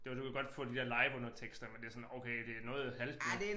Det var du kan godt få de der liveundertekster men det sådan okay det noget halvt noget